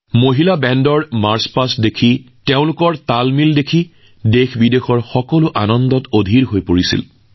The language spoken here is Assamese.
মহিলা বেণ্ডৰ সমদল দেখি আৰু তেওঁলোকৰ চমকপ্ৰদ সমন্বয় দেখি দেশবিদেশৰ মানুহ আলোড়িত হৈ পৰিল